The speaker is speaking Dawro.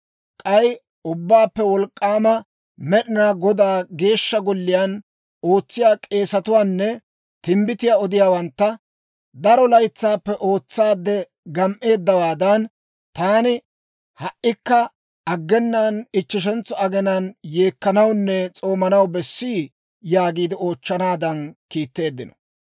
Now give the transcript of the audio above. K'ay Ubbaappe Wolk'k'aama Med'inaa Godaa Geeshsha Golliyaan ootsiyaa k'eesetuwaanne timbbitiyaa odiyaawantta, «Daro laytsaappe ootsaade gam"eeddawaadan, taani ha"ikka aggenaan ichcheshentso aginaan yeekkanawunne s'oomanaw bessii?» yaagiide oochchanaadan kiitteeddino.